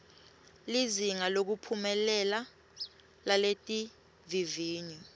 lizinga lekuphumelela laletivivinyo